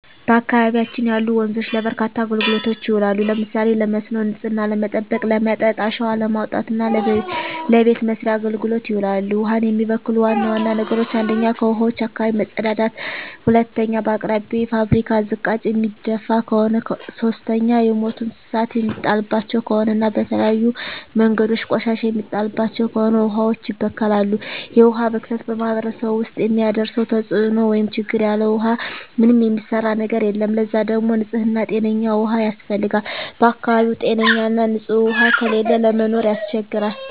በአካባቢያችን ያሉ ወንዞች ለበርካታ አገልግሎቶች ይውላሉ። ለምሳሌ ለመስኖ፣ ንጽህናን ለመጠበቅ፣ ለመጠጥ፣ አሸዋ ለማውጣት እና ለበቤት መሥርያ አገልግሎት ይውላሉ። ውሀን የሚበክሉ ዋና ዋና ነገሮች 1ኛ ከውሀዋች አካባቢ መጸዳዳት መጸዳዳት 2ኛ በአቅራቢያው የፋብሪካ ዝቃጭ የሚደፍ ከሆነ ከሆነ 3ኛ የሞቱ እንስሳት የሚጣልባቸው ከሆነ እና በተለያዩ መንገዶች ቆሻሻ የሚጣልባቸው ከሆነ ውሀዋች ይበከላሉ። የውሀ ብክለት በማህረሰቡ ውስጥ የሚያደርሰው ተጽዕኖ (ችግር) ያለ ውሃ ምንም የሚሰራ ነገር የለም ለዛ ደግሞ ንጽህና ጤነኛ ውሃ ያስፈልጋል በአካባቢው ጤነኛ ና ንጽህ ውሃ ከሌለ ለመኖር ያስቸግራል።